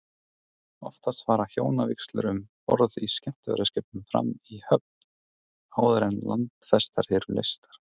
Oftast fara hjónavígslur um borð í skemmtiferðaskipum fram í höfn, áður en landfestar eru leystar.